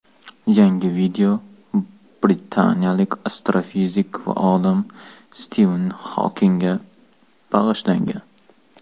Yangi video britaniyalik astrofizik va olim Stiven Xokingga bag‘ishlangan.